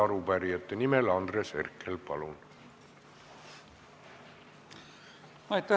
Arupärijate nimel Andres Herkel, palun!